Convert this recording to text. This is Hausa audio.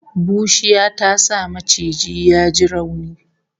Bushiya ta sa maciji ya ji rauni